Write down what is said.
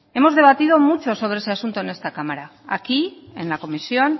hemos debatido mucho sobre ese asunto en esta cámara aquí en la comisión